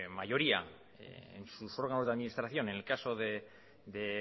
mayoría en sus órganos de administración en el caso de